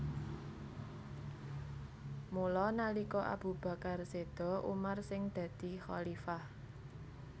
Mula nalika Abu Bakar séda Umar sing dadi khalifah